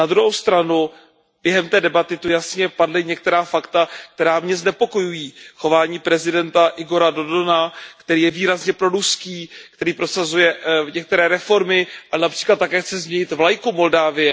Na druhou stranu, během té debaty tady jasně padla některá fakta, která mě znepokojují. Chování prezidenta Igora Dodona, který je výrazně proruský, který prosazuje některé reformy a např. chce také změnit vlajku Moldavska.